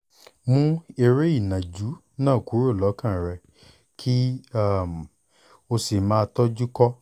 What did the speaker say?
mú eré ìnàjú náà kúrò lọ́kàn rẹ kí um o sì máa tọ́jú kọ́